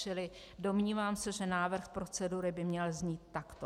Čili domnívám se, že návrh procedury by měl znít takto: